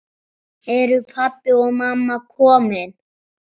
Eru pabbi og mamma komin?